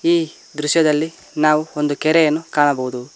ಈ ದೃಶ್ಯದಲ್ಲಿ ನಾವು ಒಂದು ಕೆರೆಯನ್ನ ಕಾಣಬಹುದು.